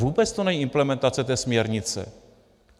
Vůbec to není implementace té směrnice.